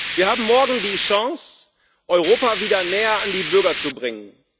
Wir haben morgen die Chance, Europa wieder näher an die Bürger zu bringen.